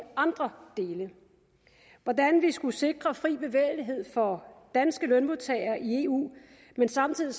andre dele hvordan vi skal sikre fri bevægelighed for danske lønmodtagere i eu men samtidig